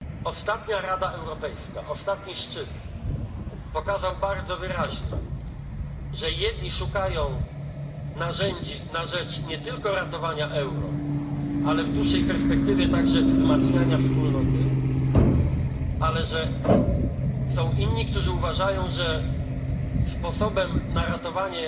Ostatni szczyt Rady Europejskiej pokazał bardzo wyraźnie, że jedni szukają narzędzi na rzecz nie tylko ratowania euro, ale w dłuższej perspektywie także wzmacniania Wspólnoty, ale że są inni, którzy uważają, że sposobem na ratowanie